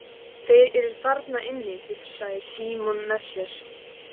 Þeir eru þarna inni, hugsaði Símon með sér.